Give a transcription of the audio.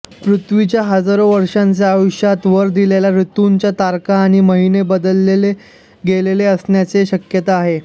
पृथ्वीच्या हजारो वर्षांच्या आयुष्यात वर दिलेल्या ऋतूंच्या तारखा आणि महिने बदलले गेले असण्याची शक्यता आहे